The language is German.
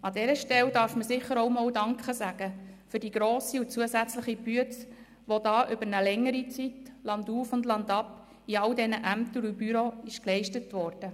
An dieser Stelle darf man auch einmal Danke sagen für die grosse und zusätzliche Arbeit, die da über eine längere Zeit landauf und landab in allen Ämtern und Büros geleistet wurde.